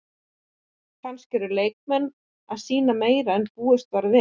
Kannski eru leikmenn að sýna meira en búist var við?